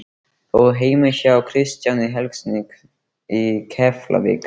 Þórð heima hjá Kristjáni Helgasyni í Keflavík.